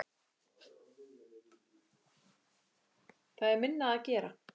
Það er minna að gera.